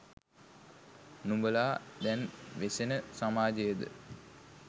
නුඹලා දැන් වෙසෙන සමාජයද?